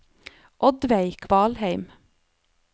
Oddveig Kvalheim